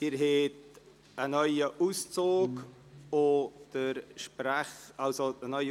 Sie haben eine neue Gesetzesfahne erhalten.